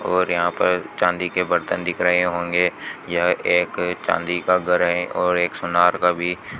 और यहां पर चांदी के बर्तन दिख रहे होंगे यह एक चांदी का घर है और एक सोनार का भी--